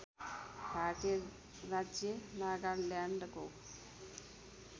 भारतीय राज्य नागाल्यान्डको